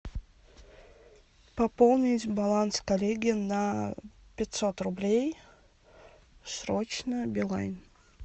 пополнить баланс коллеги на пятьсот рублей срочно билайн